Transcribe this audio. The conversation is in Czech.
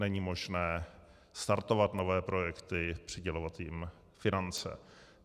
Není možné startovat nové projekty, přidělovat jim finance.